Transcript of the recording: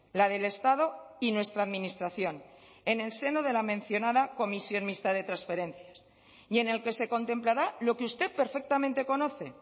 la del estado y nuestra administración en el seno de la mencionada comisión mixta de transferencias y en el que se contemplará lo que usted perfectamente conoce